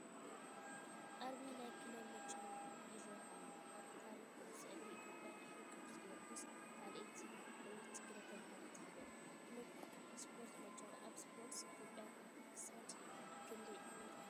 ኣርማ ናይ ክለብ መቻል ይረአ ኣሎ፡፡ ኣብ ታሪኽ ኩዕሶ እግሪ ኢትዮጵያ ድሕሪ ቅዱስ ጊዮርጊስ ካልኣይቲ ዕውትቲ ክለብ ተባሂላ ትፍለጥ። ክለብ ስፖርት መቻል ኣብ ስፖርት ኢትዮጵያ ክሳብ ክንደይ ዕዉት ኮይኑ?